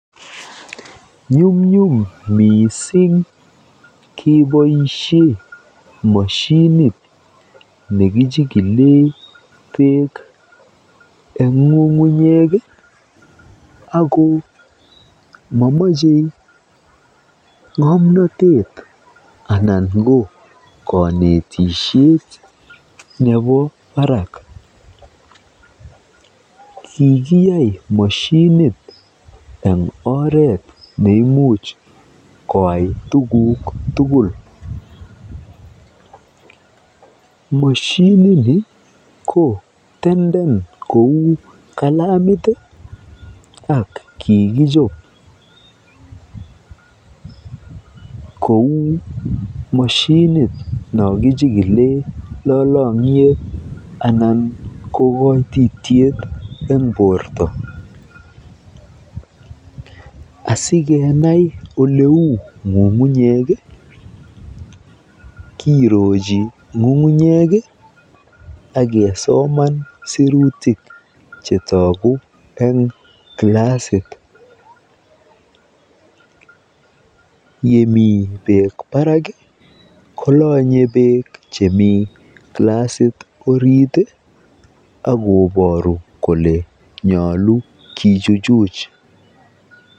Nyumnyum missing keboisien moshinit nekichikilee beek eng ng'ung'unyek ii ako momoche ng'omnotet anan ko konetisiet nebo barak kikiyai moshinit eng oret neimuch koyai tuguk tugul, moshinini koo tenden kou kalamit ii ak kikichop kou moshinit nokichikilen lolongyet anan ko koititiet eng borto asikenai oleu ng'ung'unyek ii kirochi ng'ung'unyek ii akesoman sirutik chetoguu eng glasit, yemi beek barak ii kolonye beek chemi glasit orit ii akoboru kole nyolu kichuchuch.